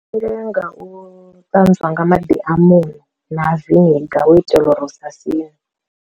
Ndi nga u ṱanzwa nga maḓi a muṋo na viniga hu u itela uri usa sine.